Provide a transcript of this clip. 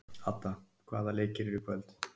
Ada, hvaða leikir eru í kvöld?